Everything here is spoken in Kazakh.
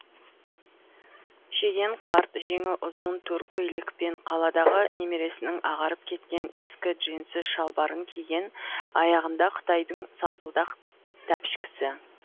шеген қарт жеңі ұзын тор көйлек пен қаладағы немересінің ағарып кеткен ескі джинсы шалбарын киген аяғында қытайдың салпылдақ тәпішкісі